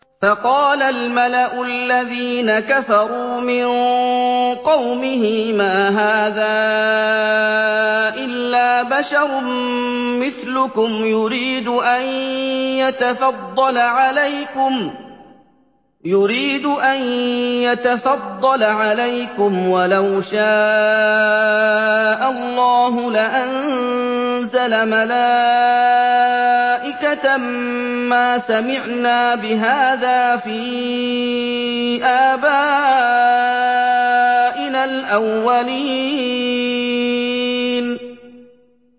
فَقَالَ الْمَلَأُ الَّذِينَ كَفَرُوا مِن قَوْمِهِ مَا هَٰذَا إِلَّا بَشَرٌ مِّثْلُكُمْ يُرِيدُ أَن يَتَفَضَّلَ عَلَيْكُمْ وَلَوْ شَاءَ اللَّهُ لَأَنزَلَ مَلَائِكَةً مَّا سَمِعْنَا بِهَٰذَا فِي آبَائِنَا الْأَوَّلِينَ